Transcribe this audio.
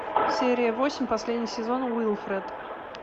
серия восемь последний сезон уилфред